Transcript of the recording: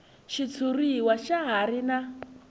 xitshuriwa xa ha ri na